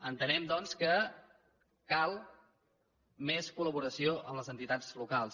entenem doncs que cal més collaboració amb les entitats locals